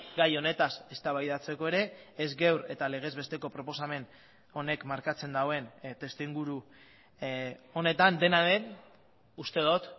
gai honetaz eztabaidatzeko ere ez gaur eta legezbesteko proposamen honek markatzen duen testu inguru honetan dena den uste dut